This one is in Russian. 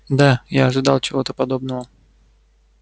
да я ожидал чего-то подобного